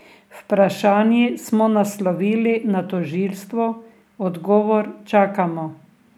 Vprašanji smo naslovili na tožilstvo, odgovor čakamo.